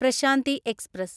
Prashanti express